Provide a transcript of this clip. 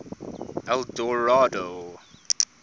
eldorado